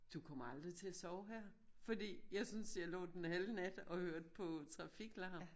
Du kommer aldrig til at sove her fordi jeg synes jeg lå den halve nat og hørte på trafiklarm